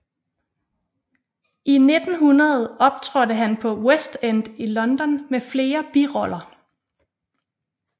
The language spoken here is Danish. I 1900 optrådte han på West End i London med flere biroller